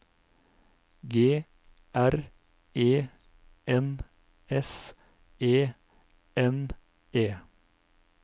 G R E N S E N E